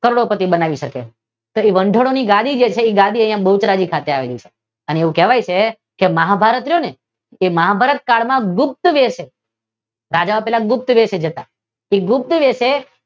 કરોડોપતી બનાવી શકે. કે વંઢાળો ની ગાડી છે એ ગાડી અહિયાં બહુચરાજી ખાતે આવેલી છે અને એવું કહેવામા આવે છે કે મહાભારત રહ્યું ને એ મહાભારત કાળ માં ગુપ્ત વે છે રાજાઓ પહેલા ગુપ્ત વે થી જતાં તે ગુપ્ત વે છે તે